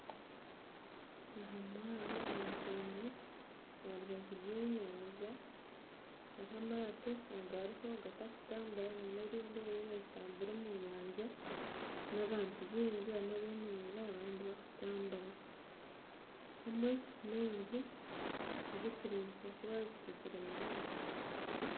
Aha mwaro aha nkungu aharubaju rwenyanja, hariho amaato agatarikugyenda n'erindi eririyo nirigyenda omu nyanja hamwe n'abantu baingi, abamwe beemereire abandi nibatambura kandi hariho n'enju ezirikureebeka kuba zikuzire munonga